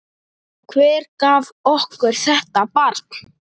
Hver gaf okkur þetta barn?